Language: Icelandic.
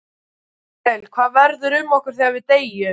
Axel: Hvað verður um okkur þegar við deyjum?